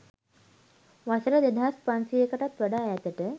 වසර දෙදහස් පන්සියයකටත් වඩා ඈතට